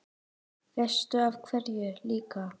Veistu af hverju líka?